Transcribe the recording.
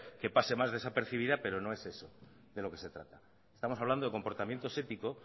que pase más desapercibida pero no es eso de lo que se trata estamos hablando de comportamientos éticos